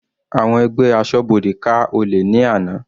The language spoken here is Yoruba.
Àwọn ẹgbẹ́ asọ́bodè ká olè ní àná.